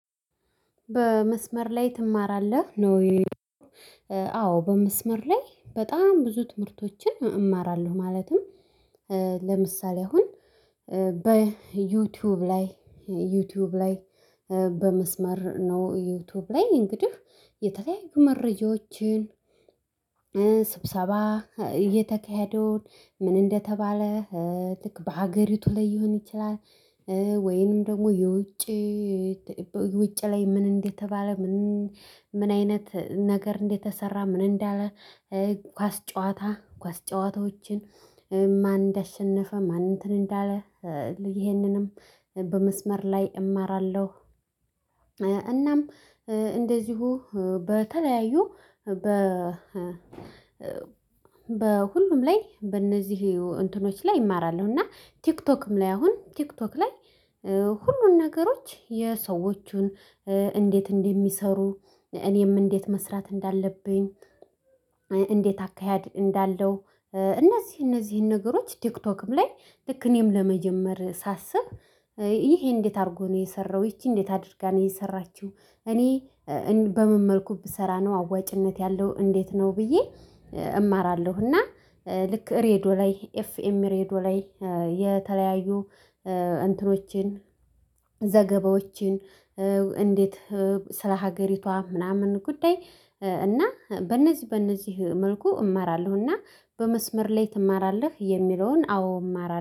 በመስመር ላይ ትማራለህ ነው? አዎ በመስመር ላይ በጣም ብዙ ትምህርቶችን እማራለሁ። ማለትም ለምሳሌ አሁን በዩትዩብ ላይ ዩትዩብ ላይ በመስመር ነው ዩቱብ ላይ እንግዲህ የተለያዩ መረጃዎችን ስብሰባ እየተካሄደውን ምን እንደተባለ ልክ በሃገሪ ላይ ሊሆን ይችላል። ወይንም ደግሞ የውጭ ውጭ ላይ ምን እንደተባለ ምን ምን አይነት ነገር እንደተሰራ ምን እንዳለ? ኳስ ጨዋታ ኳስ ጨዋታዎችን ማን እንዳሸነፈ ማን እንትን እንዳለ ይሄንንም በመስመር ላይ እማራለሁ። እናም እንደዚሁ በተለያዩ በ በሁሉም ላይ በእነዚህ እንትኖች ላይ እማራለሁ። እና ቲክቶክም ላይ አሁን ቲክቶክ ላይ ሁሉን ነገሮች የሰዎቹን እንዴት እንደሚሰሩ እኔም እንዴት መስራት እንዳለብኝ። እንዴት አካሄድ እንዳለው። እነዚህ እነዚህን ነገሮች ቲክቶክም ላይ ልክ እኔም ለመጀመር ሳስብ ይሄ እንዴት አርጎ ነው የሰራው ይቺ እንዴት አድርጋ ነው የሰራችው? እኔ እን በምን መልኩ ብሰራ ነው አዋጭነት ያለው እንዴት ነው ብዬ? እማራለሁ። እና ልክ ሬዲዪ ላይ ኤፍኤም ሬዲዮ ላይ የተለያዩ እንትኖችን ዘገባዎችን እንዴት ስለ ሀገሪቷ ምናምን ጉዳይ እና በእነዚህ በእነዚህ መልኩ እማራለሁ። እና በመስመር ላይ ትማራለህ? የሚለውን አዎ እማራ